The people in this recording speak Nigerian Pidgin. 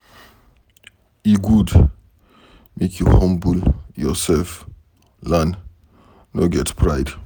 E good make you humble yourself learn, no get pride.